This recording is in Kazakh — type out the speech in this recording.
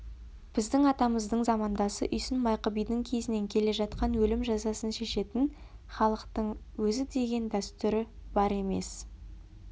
біздің атамыздың замандасы үйсін майқы бидің кезінен келе жатқан өлім жазасын шешетін халықтың өзідеген дәстүр бар емес